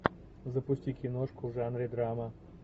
запусти киношку в жанре драма